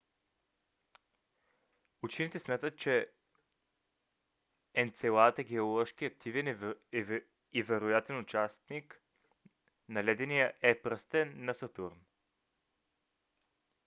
учените смятат че енцелад е геоложки активен и е вероятен източник на ледения е пръстен на сатурн